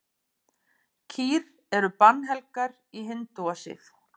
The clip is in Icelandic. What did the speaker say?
Kýr eru bannhelgar í hindúasið.